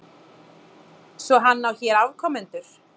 Svo hann á hér afkomendur?